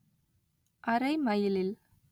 அரை மைலில்